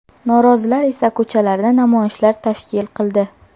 Norozilar esa ko‘chalarda namoyishlar tashkil qildi.